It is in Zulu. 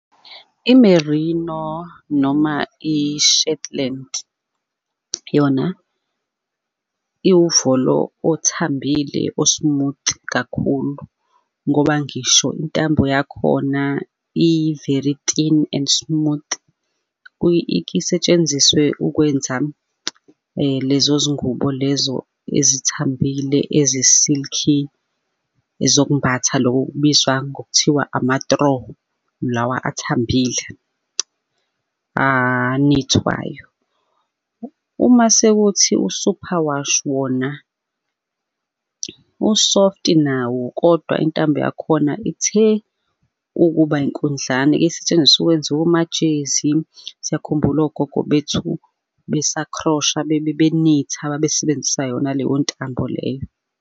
I-Marino noma i-Shetland yona iwuvolo othambile o-smooth kakhulu ngoba ngisho intambo yakhona i-very thin and smooth ike isetshenziswe ukwenza lezo zingubo lezo ezithambile ezi-silk-i zokumbatha loko okubizwa ngokuthiwa ama-throw lawa ethambile anithwayo. Uma sekuthi u-superwash wona u-soft-i nawo, kodwa intambo yakhona ithe ukuba inkundlana, isetshenziswa ukwenza omajezi, siyakhumbula ogogo bethu, besakhrosha, benitha, babesebenzisa yona leyo ntambo leyo.